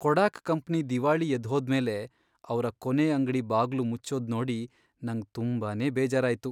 ಕೊಡಾಕ್ ಕಂಪ್ನಿ ದಿವಾಳಿ ಎದ್ದ್ಹೋದ್ಮೇಲೆ ಅವ್ರ ಕೊನೇ ಅಂಗ್ಡಿ ಬಾಗ್ಲು ಮುಚ್ಚೋದ್ ನೋಡಿ ನಂಗ್ ತುಂಬಾನೇ ಬೇಜಾರಾಯ್ತು.